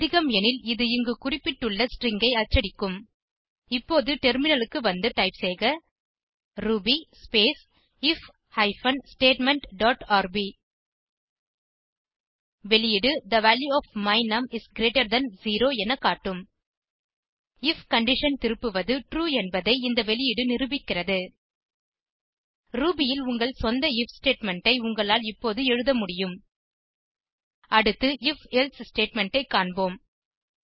அதிகம் எனில் இது இங்கு குறிப்பிட்டுள்ள ஸ்ட்ரிங் ஐ அச்சடிக்கும் இப்போது டெர்மினலுக்கு வந்து டைப் செய்க Ruby space if hyphen statement dot rb வெளியீடு the value of my num is greater than 0 என காட்டும் ஐஎஃப் கண்டிஷன் திருப்புவது ட்ரூ என்பதை இந்த வெளியீடு நிரூபிக்கிறது ரூபி ல் உங்கள் சொந்த ஐஎஃப் ஸ்டேட்மெண்ட் ஐ உங்களால் இப்போது எழுத முடியும் அடுத்து if எல்சே ஸ்டேட்மெண்ட் ஐ காண்போம்